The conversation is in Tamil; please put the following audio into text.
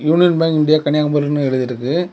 யூனியன் பேங்க் இண்டியா கன்னியாகுமரினு எழுதிருக்கு.